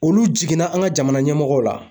Olu jiginna an ka jamana ɲɛmɔgɔw la